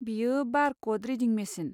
बेयो बार कड रिडिं मेचिन।